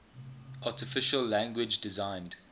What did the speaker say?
artificial language designed